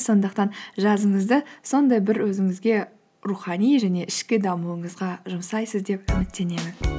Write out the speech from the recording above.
сондықтан жазыңызды сондай бір өзіңізге рухани және ішкі дамуыңызға жұмсайсыз деп үміттенемін